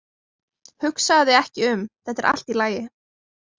Hugsaðu þig ekki um, þetta er allt í lagi.